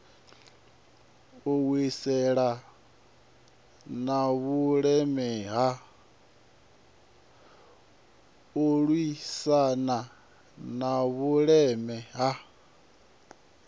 u lwisana na vhuleme ha